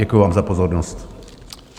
Děkuji vám za pozornost.